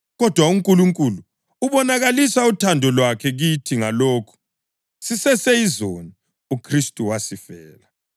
Kodwa uNkulunkulu ubonakalisa uthando lwakhe kithi ngalokhu: Siseseyizoni, uKhristu wasifela.